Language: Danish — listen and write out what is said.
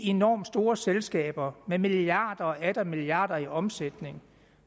enormt store selskaber med milliarder og atter milliarder i omsætning